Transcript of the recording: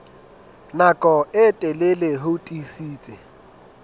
nako e telele ho tiisitse